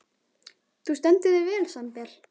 Þú stendur þig vel, Sandel!